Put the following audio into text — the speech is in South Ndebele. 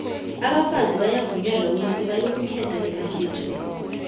ngo abafazi bavunyelwa ukuthi bayokukhetha emakhethweni